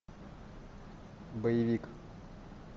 боевик